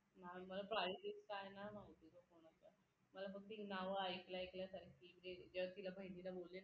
मला price बीज काय नाही माहित ग कोणाच्या मला फक्त नाव ऐकल्या ऐकल्या सारखी जे जर तिला बहिणीला बोलले